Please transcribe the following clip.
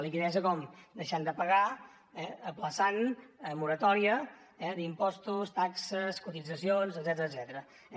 liquiditat com deixant de pagar ajornant moratòria d’impostos taxes cotitzacions etcètera